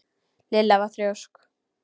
Lilla var þrjósk.